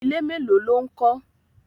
Ilé mélòó ló ń kọ́?